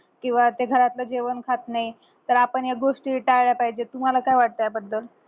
किंवा ते घरातलं जेवण खात नाही तर आपण या गोष्टी टाळल्या पाहिजेत तुम्हाला काय वाटतं या बद्दल